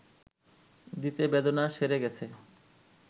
দিতে বেদনা সেরে গেছে